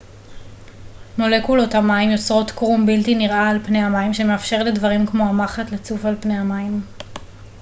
מולקולות המים יוצרות קרום בלתי נראה על פני המים שמאפשר לדברים כמו המחט לצוף על פני המים